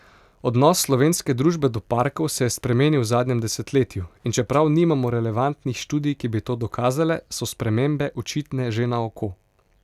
Odnos slovenske družbe do parkov se je spremenil v zadnjem desetletju, in čeprav nimamo relevantnih študij, ki bi to dokazale, so spremembe očitne že na oko.